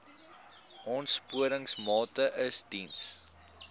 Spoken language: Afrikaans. aansporingsmaatre ls diens